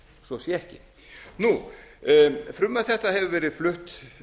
svo sé ekki frumvarp þetta hefur verið flutt